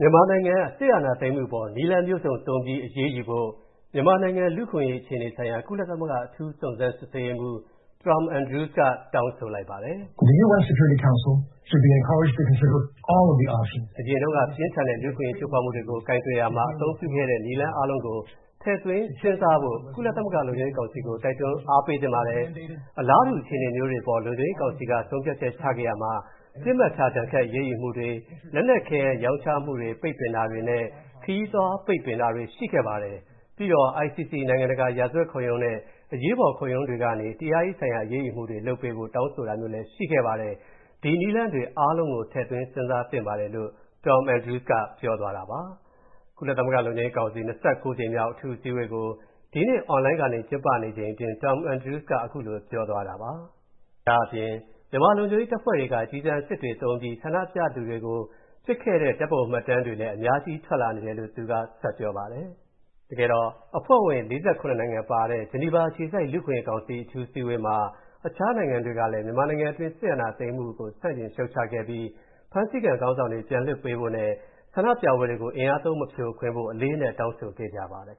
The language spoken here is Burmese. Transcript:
မြန်မာနိုင်ငံ စစ်အာဏာသိမ်းမှုအပေါ် နည်းလမ်းမျိုးစုံသုံးပြီး အရေးယူဖို့ မြန်မာနိုင်ငံ လူ့အခွင့်အရေးအခြေအနေဆိုင်ရာ ကုလသမဂ္ဂ အထူးစုံစမ်းစစ်ဆေးရေးမှူး Tom Andrews က တောင်းဆိုလိုက်ပါတယ်။ “အရင်တုန်းက ပြင်းထန်တဲ့ လူ့အခွင့်အရေးချိုးဖောက်မှုတွေကို ကိုင်တွယ်ရာမှာ အသုံးပြုခဲ့တဲ့ နည်းလမ်းအားလုံးကို ထည့်သွင်းစဉ်းစားဖို့ ကုလသမဂ္ဂလုံခြုံရေးကောင်စီကို တိုက်တွန်းအားပေးသင့်ပါတယ်။ အလားတူအခြေအနေမျိုးတွေအပေါ် လုံခြုံရေးကောင်စီက ဆုံးဖြတ်ချက်ချခဲ့ရာမှာ ပစ်မှတ်ထားဒဏ်ခတ်အရေးယူမှုတွေ၊ လက်နက်ခဲယမ်း ရောင်းချမှု ပိတ်ပင်တာတွေနဲ့ ခရီးသွားပိတ်ပင်တာတွေ ပါခဲ့ပါတယ်။ ပြီးတော့ ICC နိုင်ငံတကာ ရာဇဝတ်တရားရုံးနဲ့ အရေးပေါ်ခုံရုံးတွေကနေ တရားရေးဆိုင်ရာအရေးယူမှုတွေ လုပ်ပေးဖို့ တောင်းဆိုတာမျိုးလည်း ရှိခဲ့ပါတယ်။ ဒီနည်းလမ်းတွေအားလုံးကို ထည့်သွင်းစဉ်းစားသင့်ပါတယ်။" လို့ Tom Andrews ကပြောပါတယ်။ ကုလသမဂ္ဂ လူ့အခွင့်အရေးကောင်စီ ၂၉ ကြိမ်မြောက်အထူးအစည်းအဝေးကို ဒီကနေ့ အွန်လိုင်းကနေ ကျင်းပချိန်အတွင်း Tom Andres က အဲဒီလိုပြောသွားတာပါ။ ဒါ့အပြင် မြန်မာလုံခြုံရေးတပ်ဖွဲ့တွေက ကျည်ဆံအစစ်တွေ သုံးပြီး ဆန္ဒပြခဲ့သူတွေကို ပစ်ခဲ့တဲ့ ဓာတ်ပုံမှတ်တမ်းတွေလည်း အများကြီးထွက်လာနေတယ်လို့ သူကပြောပါတယ်။ အဖွဲ့ဝင်နိုင်ငံ ၄၇ နိုင်ငံပါတဲ့ ဂျီနီဗာအခြေစိုက်လူ့အခွင့်အရေးကောင်စီ အထူးအစည်းအဝေးမှာ အခြားနိုင်ငံတွေကလည်း မြန်မာနိုင်ငံတွင်း စစ်အာဏာသိမ်းမှုကို ဆန့်ကျင်ရှုတ်ချခဲ့ပြီး ဖမ်းဆီးခံခေါင်းဆောင်တွေ ပြန်လွှတ်ပေးဖို့နဲ့ ဆန္ဒပြပွဲတွေကို အင်အားသုံး မဖြိုခွင်းဖို့ အလေးအနက်တောင်းဆိုခဲ့ပါတယ်